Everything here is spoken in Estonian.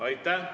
Aitäh!